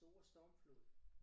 Den store stormflod